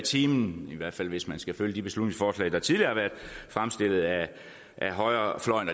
time i hvert fald hvis man skal følge de beslutningsforslag der tidligere har været fremsat af højrefløjen